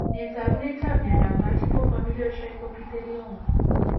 Nee taakunetab myondap Multiple familial trichoepithelioma?